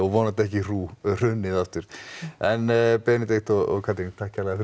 vonandi ekki hrunið aftur en Benedikt og Katrín takk kærlega fyrir